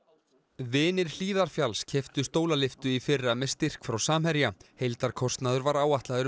vinir Hlíðarfjalls keyptu stólalyftu í fyrra með styrk frá Samherja heildarkostnaður var áætlaður um